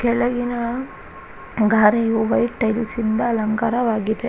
ಕೆಳಗಿನ ಗಾರೆಯು white tiles ಇಂದ ಅಲಂಕಾರವಾಗಿದೆ.